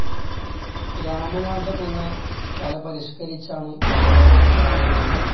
രാമനാട്ടം എന്ന കല പരിഷ്ക്കരിച്ചാണ് കഥകളി ഉണ്ടായത്.